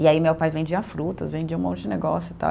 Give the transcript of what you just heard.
E aí meu pai vendia frutas, vendia um monte de negócio e tal.